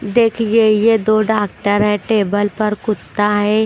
देखिए यह दो डॉक्टर है टेबल पर कुत्ता है।